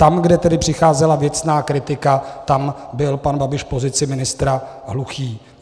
Tam, kde tedy přicházela věcná kritika, tam byl pan Babiš v pozici ministra hluchý.